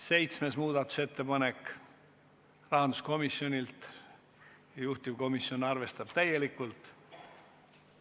Seitsmes muudatusettepanek – rahanduskomisjonilt ja juhtivkomisjon on arvestanud täielikult.